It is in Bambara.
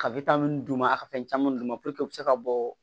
Ka wita mun d'u ma a ka fɛn caman d'u ma puruke u be se ka bɔ